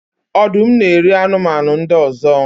Ọdụm na-eri anụmanụ ndị ọzọ